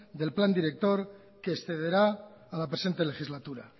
del plan director que excederá a la presente legislatura